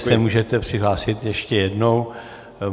Klidně se můžete přihlásit ještě jednou.